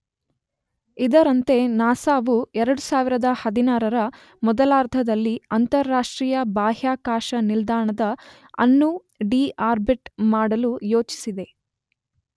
ಇದರಂತೆ ನಾಸ ವು 2016 ರ ಮೊದಲಾರ್ಧದಲ್ಲಿ ಅಂತರರಾಷ್ಟ್ರೀಯ ಬಾಹ್ಯಾಕಾಶ ನಿಲ್ದಾಣದ ಅನ್ನು ಡೀ ಆರ್ಬಿಟ್ ಮಾಡಲು ಯೋಜಿಸಿದೆ.